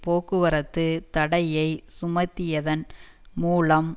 போக்குவரத்து தடையை சுமத்தியதன் மூலம்